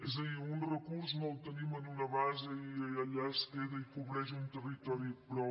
és a dir un recurs no el tenim en una base i allà es queda i cobreix un territori i prou